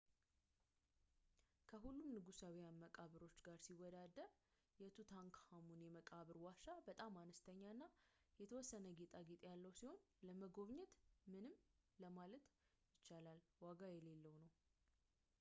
ከሁሉም የንጉሳውያን መቃብሮች ጋር ሲወዳደር፣ የtutankhamun የመቃብር ዋሻ በጣም አነስተኛና የተወሰነ ጌጣጌጥ ያለው ሲሆን ለመጎብኘት ምንም ለማለት ይቻላል ዋጋ የሌለው ነው